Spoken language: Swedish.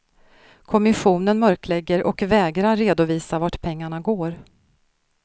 Kommissionen mörklägger och vägrar redovisa vart pengarna går.